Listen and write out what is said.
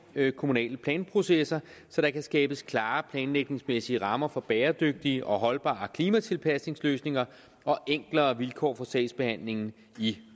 kommunale planprocesser så der kan skabes klare planlægningsmæssige rammer for bæredygtige og holdbare klimatilpasningsløsninger og enklere vilkår for sagsbehandlingen i